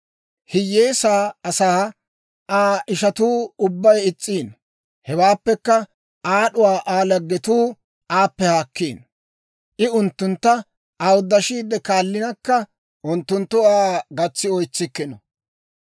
Hiyyeesaa asaa Aa ishatuu ubbay is's'iino; hewaappekka aad'uwaa Aa laggetuu aappe haakkiino; I unttuntta awuddashiide kaallinakka, unttunttu Aa gatsi oytsikkino.